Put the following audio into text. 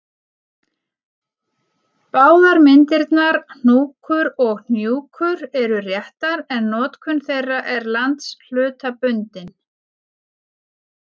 Báðar myndirnar hnúkur og hnjúkur eru réttar en notkun þeirra er landshlutabundin.